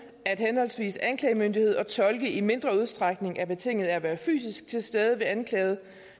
at henholdsvis anklagemyndighed og tolke i mindre udstrækning er betinget af at være fysisk til stede hos den anklagede